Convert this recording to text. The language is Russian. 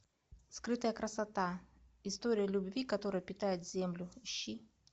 скрытая красота история любви которая питает землю ищи